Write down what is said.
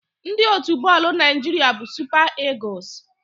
Ndị otu bọọlụ Naịjiria bụ Super Eagles.